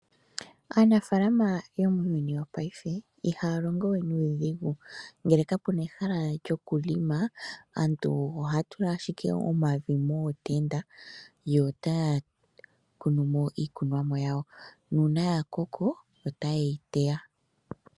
Aanafalama yo muuyuni wo paife ihaya longowe nuudhigu. Ngele ka puna ehala lyo kulonga aantu ohaya tula ashike omavi mootenda yo taya kunumo iikunwa mo yawo, nuuna ya koko, ota yeyi teya.